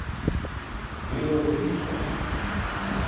Delno resnično.